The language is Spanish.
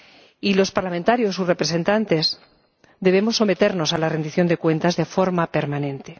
Y los parlamentarios, sus representantes, debemos someternos a la rendición de cuentas de forma permanente.